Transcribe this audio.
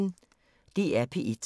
DR P1